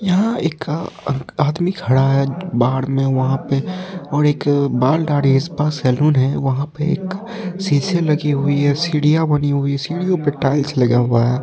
यहाँ एक का अक आदमी खड़ा है बाहर में वहाँ पे और एक बाल दाढ़ी का स्पा सैलून है वहाँ पे एक शीशे लगी हुई है सीढ़ियाँ बनी हुई हैं सीढ़ियों पर टाइल्स लगा हुआ है।